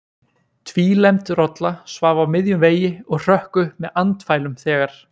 Tvílembd rolla svaf á miðjum vegi og hrökk upp með andfælum þegar